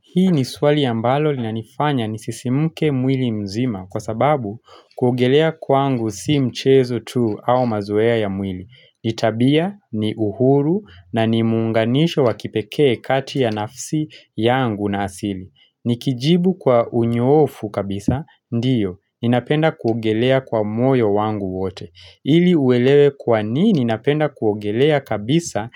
Hili ni swali ambalo linanifanya nisisimke mwili mzima kwa sababu, kuogelea, kwangu sio mchezo tu au mazoea ya mwili. Ni tabia, ni uhuru na ni muunganisho wa kipekee kati ya nafsi yangu na asili. Nikijibu kwa unyoofu kabisa, ndiyo, ninapenda kuogelea kwa moyo wangu wote. Ili uelewe kwa nini ninapenda kuogelea kabisa,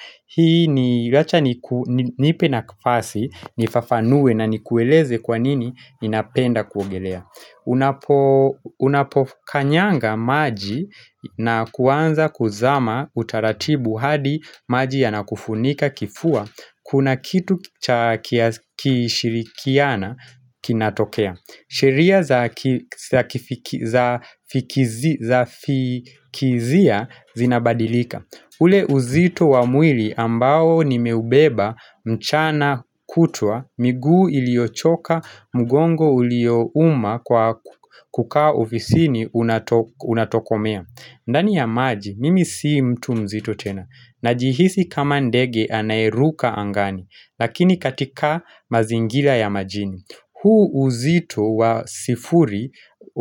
nipe nafasi nifafanue na nikueleze kwa nini ninapenda kuogelea, unapo Unapokanyaga maji na kuanza kuzama kwa utaratibu hadi maji yanakufunika kifua, kuna kitu cha kushirikiana kinatokea. Sheria za za fikizia zinabadilika. Ule uzito wa mwili ambao nimeubeba mchana kutwa, miguu iliochoka mugongo uliouma kwa kukaa ofisini unatokomea. Ndani ya maji, mimi sio mtu mzito tena. Najihisi kama ndege anaeruka angani, lakini katika mazingira ya majini. Huu uzito wa sifuri,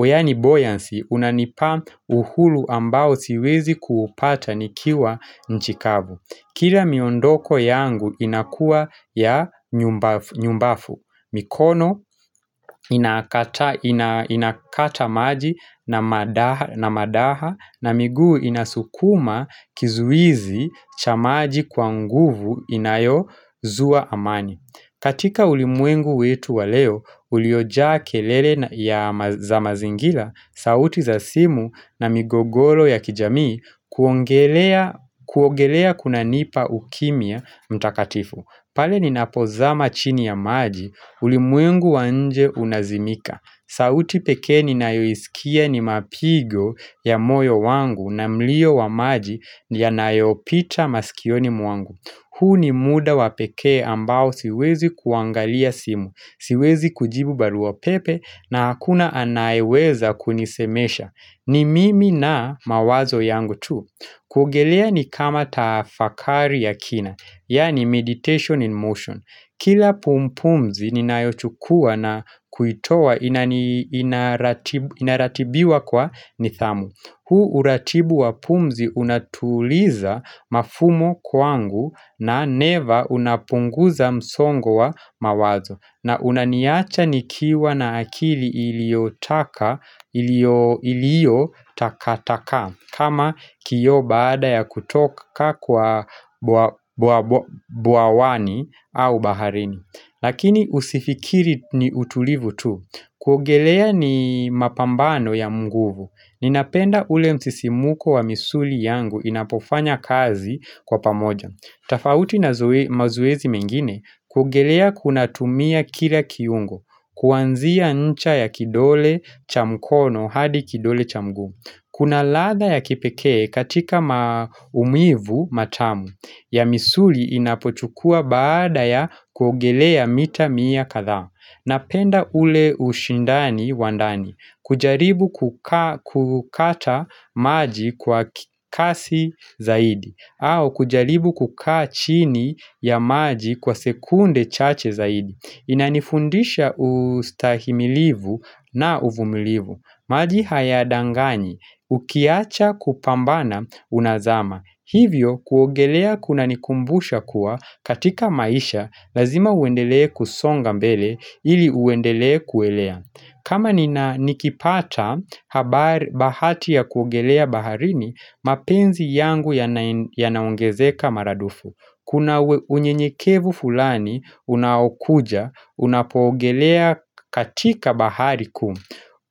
yani 'buoyancy', unanipa uhuru ambao siwezi kuupata nikiwa nchi kavu. Kila miondoko yangu inakua ya nyumbafu. Mikono inakata maji na madaha na miguu inasukuma kizuizi cha maji kwa nguvu inayozua amani. Katika ulimwengu wetu wa leo, uliojaa kelele ya za mazingira, sauti za simu na migogoro ya kijamii, kuongelea kunanipa ukimya mtakatifu. Pale ninapozama chini ya maji, ulimwengu wa nje unazimika. Sauti pekee ninayoisikia ni mapigo ya moyo wangu na mlio wa maji yanayopita maskioni mwangu. Huu ni muda wa pekee ambao siwezi kuangalia simu, siwezi kujibu barua pepe na hakuna anayeweza kunisemesha. Ni mimi na mawazo yangu tu. Kuogelea ni kama tafakari ya kina, yani 'meditation in motion.' Kila pumzi ninayochukua na kuitoa inaratibiwa kwa nidhamu. Huu uratibu wa pumzi unatuliza mafumo kwangu na pia unapunguza msongo wa mawazo, na unaniacha nikiwa na akili iliyotakaa takaa kama kioo baada ya kutoka bwawani au baharini. Lakini usifikiri ni utulivu tu. Kuogelea ni mapambano ya nguvu. Ninapenda ule msisimko wa misuli yangu inapofanya kazi kwa pamoja. Tofauti na mazoezi mengine kuogelea kunatumia kila kiungo. Kuanzia ncha ya kidole cha mkono hadi kidole cha mguu. Kuna ladha ya kipekee katika maumivu matamu ya misuli inapochukua baada ya kuogelea mita mia kathaa. Napenda ule ushindani wa ndani. Kujaribu kukaa kukata maji kwa kasi zaidi au kujaribu kukaa chini ya maji kwa sekunde chache zaidi. Inanifundisha ustahimilivu na uvumilivu. Maji hayadanganyi. Ukiwacha kupambana unazama. Hivyo kuogelea kunanikumbusha kuwa katika maisha, lazima uendelea kusonga mbele ili uendelee kuelea. Kama nikipata bahati ya kuongelea baharini, mapenzi yangu yanaongezeka mara dufu. Kuna unyenyekevu fulani, unaokuja, unapoongelea katika bahari kuu.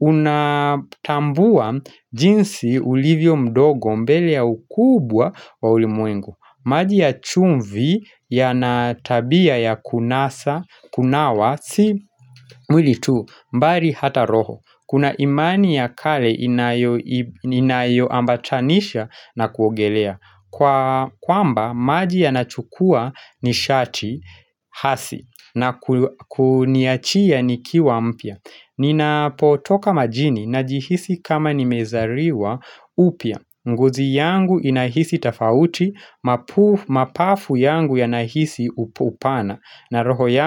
Unatambua jinsi ulivyo mdogo mbele ya ukubwa wa ulimwengu. Maji ya chumvi yana tabia ya kunawa sio mwili tu, bali hata roho. Kuna imani ya kale inayo inayo ambatanisha na kuogelea, kwamba maji yanachukua nishati hasi na kuniachia nikiwa mpya. Ninapotoka majini najihisi kama nimezaliwa upya. Ngozi yangu inahisi tofauti, mapafu yangu yanahisi upano na roho yangu.